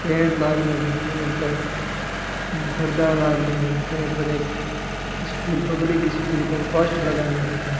Tent लागरो है tent गा है पर्दा टेंट में देख स्कूल पब्लिक स्कूल कोई पोस्ट लगाने है।